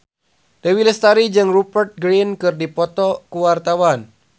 Dewi Lestari jeung Rupert Grin keur dipoto ku wartawan